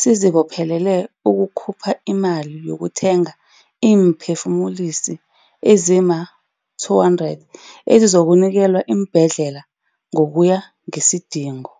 sizibophelele ukukhupha imali yokuthenga iimphe-fumulisi ezima-200 ezizokunikelwa iimbhedlela ngokuya ngesidingo.